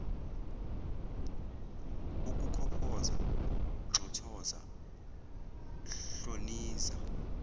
ukukhophoza nxothoza hloniza